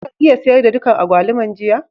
Ka iya sayar da dukan agbaluman jiya?